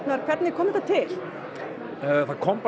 hvernig kom þetta til þetta kom